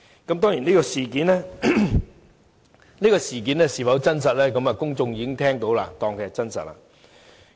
至於這事件是否真實，公眾已經聽到，就會當作是真實。